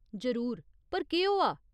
जरूर, पर केह् होआ ?